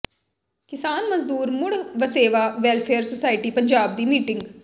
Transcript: ਕਿਸਾਨ ਮਜ਼ਦੂਰ ਮੁੜ ਵਸੇਵਾ ਵੈੱਲਫੇਅਰ ਸੁਸਾਇਟੀ ਪੰਜਾਬ ਦੀ ਮੀਟਿੰਗ